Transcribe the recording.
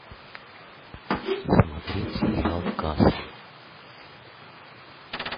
смотреть сериал касл